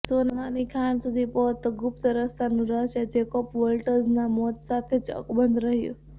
સોનાની ખાણ સુધી પહોંચતો ગુપ્ત રસ્તાનું રહસ્ય જેકોબ વોલ્ટઝના મોત સાથે જ અકબંધ રહ્યું